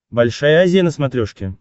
большая азия на смотрешке